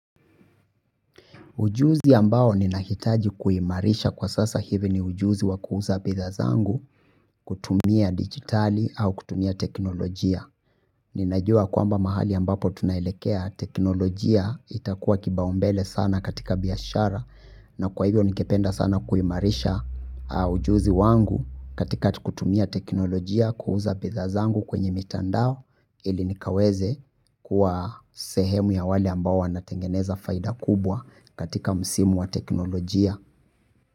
Ujuzi ambao ninahitaji kuimarisha kwa sasa hivi ni ujuzi wa kuuza bidhaa zangu kutumia digitali au kutumia teknolojia. Ninajua kwamba mahali ambapo tunaelekea teknolojia itakuwa kipaumbele sana katika biashara. Na kwa hivyo nikipenda sana kuimarisha ujuzi wangu katika kutumia teknolojia kuuza bidhaa zangu kwenye mitandao ili nikaweze kuwa sehemu ya wale ambao wanatengeneza faida kubwa katika msimu wa teknolojia.